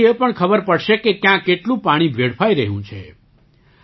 તેનાથી એ પણ ખબર પડશે કે ક્યાં કેટલું પાણી વેડફાઈ રહ્યું છે